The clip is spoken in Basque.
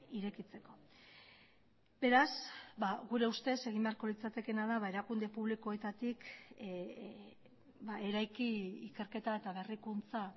irekitzeko beraz gure ustez egin beharko litzatekeena da erakunde publikoetatik eraiki ikerketa eta berrikuntza